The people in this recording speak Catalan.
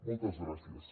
moltes gràcies